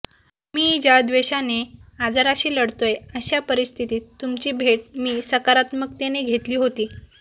मी ज्या त्वेषाने आजाराशी लढतोय अशा परिस्थतीत तुमची भेट मी सकारात्मकतेने घेतली होती